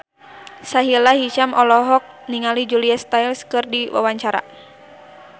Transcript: Sahila Hisyam olohok ningali Julia Stiles keur diwawancara